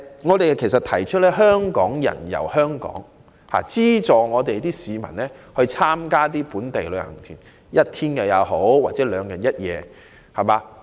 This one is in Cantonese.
我們提出"香港人遊香港"的構思，希望政府資助市民參加本地旅遊團，即使是一天或兩日一夜也好。